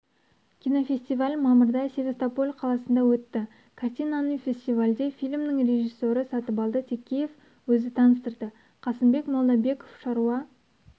кинофестиваль мамырда севастополь қаласында өтті картинаны фестивальде фильмнің режиссері сатыбалды текеев өзі таныстырды қасымбек молдабеков шаруа